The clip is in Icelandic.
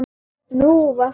Nú, var það?